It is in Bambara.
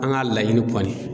An ga laɲini kɔni